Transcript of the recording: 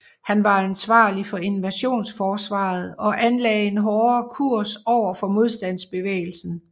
Han var ansvarlig for invasionsforsvaret og anlagde en hårdere kurs over for modstandsbevægelsen